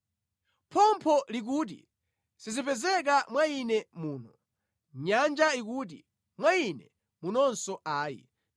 Phompho likuti, ‘Sizipezeka mwa ine muno.’ Nyanja ikuti, ‘Mwa ine munonso ayi.’